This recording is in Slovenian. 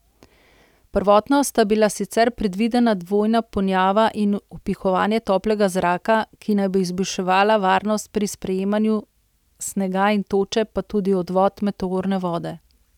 Prvotno sta bila sicer predvidena dvojna ponjava in vpihovanje toplega zraka, ki naj bi izboljšala varnost pri sprijemanju snega in toče pa tudi odvod meteorne vode.